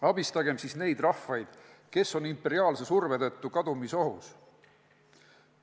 Abistagem siis neid rahvaid, kes on imperiaalse surve tõttu kadumisohus.